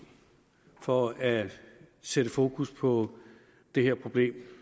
for at sætte fokus på det her problem